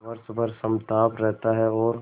वर्ष भर समताप रहता है और